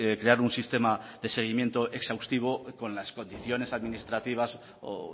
crear un sistema de seguimiento exhaustivo con las condiciones administrativas o